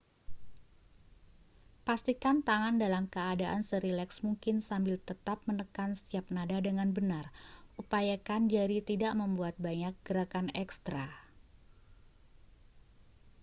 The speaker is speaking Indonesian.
pastikan tangan dalam keadaan serileks mungkin sambil tetap menekan setiap nada dengan benar upayakan jari tidak membuat banyak gerakan ekstra